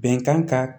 Bɛnkan ka